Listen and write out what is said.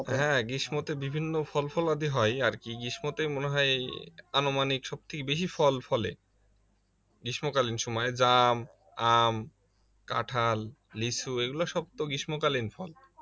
হ্যাঁ গ্রীষ্মতে বিভিন্ন ফলফলাদি হয় আর কি গ্রীষ্মতে মনে হয় আনুমানিক সব থেকে বেশি ফল ফলে গ্রীষ্মকালীন সময়ে জাম আম কাঁঠাল লিচু এগুলা সব তো গ্রীষ্মকালীন ফল